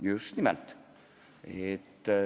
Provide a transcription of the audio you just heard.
Just nimelt.